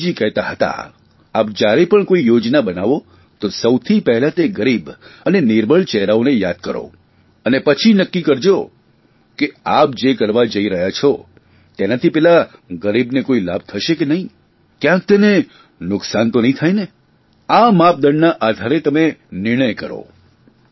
ગાંધીજી કહેતા હતા આપ જયારે પણ કોઇ યોજના બનાવો તો સૌથી પહેલાં તે ગરીબ અને નિર્બળ ચહેરાને યાદ કરો અને પછી નક્કી કરજો કે આપ જે કરવા જઇ રહ્યા છો તેનાથી પેલા ગરીબને કોઇ લાભ થશે કે નહીં કયાંક તેને નુકસાન તો નહીં થાયને આ માપદંડના આધારે તમે નિર્ણય કરો